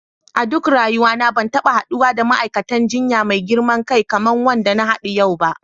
A duk rayuwa na ban taba haddu da ma'aikatan jinya mai girman kai kaman wanda na hadu yau ba.